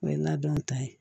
O ye n'a dɔnw ta ye